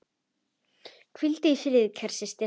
Hvíldu í friði, kæra systir.